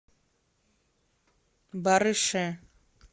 барыше